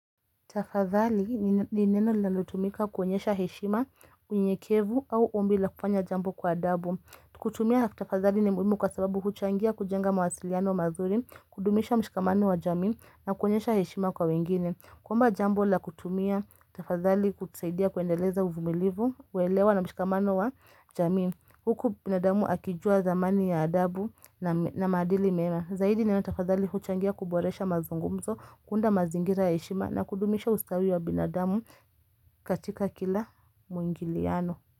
Tafadhali ni neno linalotumika kuonyesha heshima, unyekevu au ombi la kufanya jambo kwa adabu. Kutumia tafadhali ni muhimu kwa sababu huchangia kujenga mawasiliano mazuri, kudumisha mshikamano wa jamii na kuonyesha heshima kwa wengine. Kwamba jambo la kutumia, tafadhali hutusaidia kuendeleza uvumilivu, kuelewa na mshikamano wa jamii. Huku binadamu akijua dhamani ya adabu na maadili mema. Zaidi neno tafadhali huchangia kuboresha mazungumzo, kuunda mazingira ya heshima na kudumisha ustawi wa binadamu katika kila muingiliano.